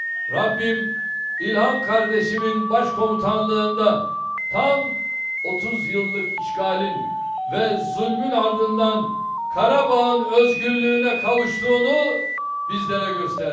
Rəbbim İlham qardaşımın başkomandanlığında tam 30 illik işğalın və zülmün ardından Qarabağın özgürlüyünə qovuşduğunu bizlərə göstərdi.